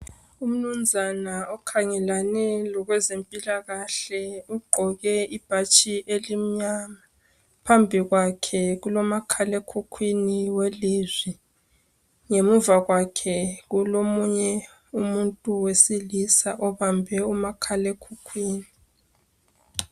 Umnumnzana okhangelane lokwezimpilakahle. Ugqoke ibhatshi elimnyama, phambikwakhe kulomakhalekhukhwini welizwi. Ngemuva kwake kulomunye umuntu wesilisa obambe umakhalekhukhwini.